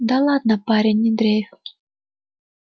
да ладно парень не дрейфь